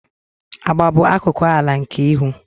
Agba bụ akụkụ ala nke ihu.